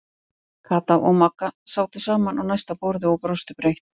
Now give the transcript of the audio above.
Kata og Magga sátu saman á næsta borði og brostu breitt.